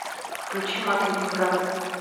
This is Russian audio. включи мат ленинград